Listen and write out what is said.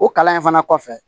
O kalan in fana kɔfɛ